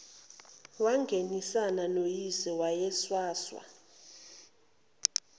wangenisana noyise owayenswanswa